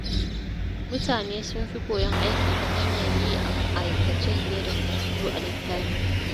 Mutane sun fi koyon aiki ta hanyar yi a aikace fiye da karatu a littafi.